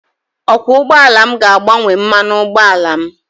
Okwọọ ụgbọala m ga-agbanwe mmanụ ụgbọala m.